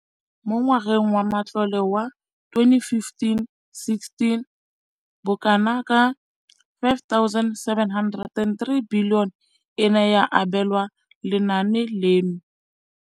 Mo ngwageng wa matlole wa 2015,16, bokanaka R5 703 bilione e ne ya abelwa lenaane leno.